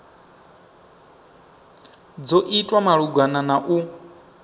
dzo itwa malugana na u